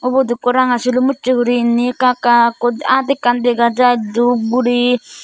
ubot ukko ranga sulum ucche guriney inni ekka ekka aat ekkan degajai dub guri.